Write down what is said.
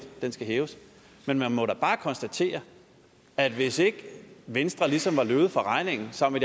den skal hæves men man må da bare konstatere at hvis ikke venstre ligesom var løbet fra regningen sammen